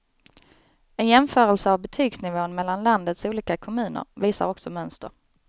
En jämförelse av betygsnivån mellan landets olika kommuner visar också mönster.